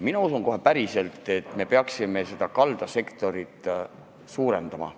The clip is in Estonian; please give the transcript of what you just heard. Mina usun kohe päriselt, et me peaksime kaldasektorit suurendama.